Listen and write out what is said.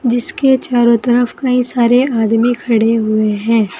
इसके चारों तरफ कई सारे आदमी खड़े हुए हैं।